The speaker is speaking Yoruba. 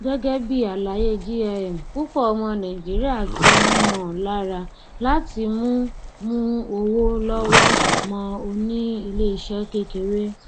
gẹgẹ bí àlàyé jim púpọ ọmọ nàìjíríà ti ń mọ lára láti mú mú owó lọwọ mọ oní iléiṣẹ kékeré